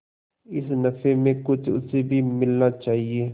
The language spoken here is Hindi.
इस नफे में कुछ उसे भी मिलना चाहिए